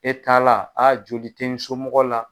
E t'a la, a joli ti n somɔgɔw la.